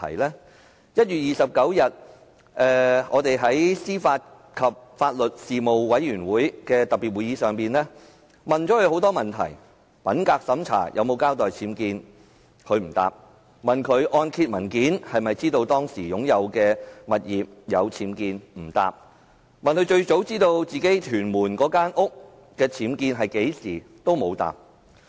在1月29日的司法及法律事務委員會的特別會議上，我們向司長提出很多問題：品格審查時有否交代其物業的僭建物，她不回答；按揭文件有否顯示當時的物業有僭建物，她不回答；她最早何時知道其屯門物業內有僭建物，她不回答。